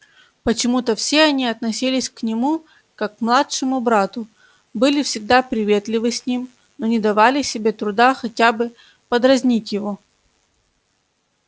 почему-то все они относились к нему как к младшему брату были всегда приветливы с ним но не давали себе труда хотя бы подразнить его